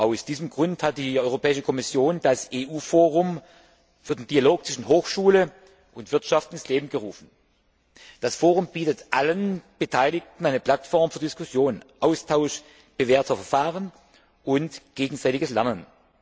Aus diesem Grund hat die Europäische Kommission das EU Forum für den Dialog zwischen Hochschule und Wirtschaft ins Leben gerufen. Das Forum bietet allen Beteiligten eine Plattform für Diskussion, Austausch bewährter Verfahren und gegenseitiges Lernen.